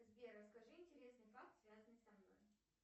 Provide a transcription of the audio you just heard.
сбер расскажи интересный факт связанный со мной